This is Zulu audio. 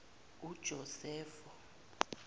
ujosefo